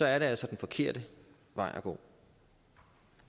er det altså den forkerte vej at gå